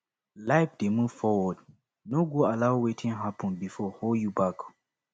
life dey move forward no go allow wetin hapun bifor hold you back